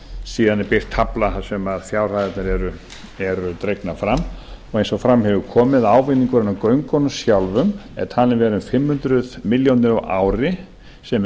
síðan er birt tafla þar sem fjárhæðirnar eru dregnar fram og eins og fram hefur komið ávinningurinn af göngunum sjálfum er talinn vera um fimm hundruð milljónir á ári sem er